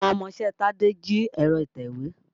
Àwọn ọmọṣẹ́ Tádé jí ẹ̀rọ ìtèwé.